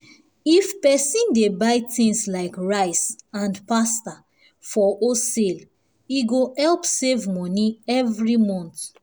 if person dey buy things like rice and pasta for wholesale e go help save money every month.